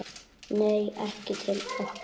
Nei, ekki til okkar